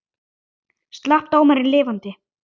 Slapp dómarinn lifandi?